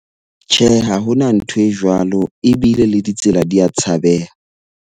Tjhe, ha ho na ntho e jwalo ebile le ditsela di a tshabeha.